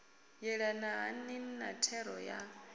yelana hani na thero ya